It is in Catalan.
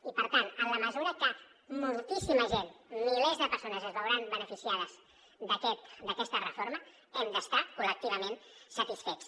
i per tant en la mesura que moltíssima gent milers de persones es veuran beneficiades d’aquesta reforma n’hem d’estar col·lectivament satisfets